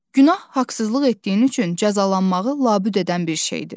Günah haqsızlıq etdiyin üçün cəzalanmağı labüd edən bir şeydir.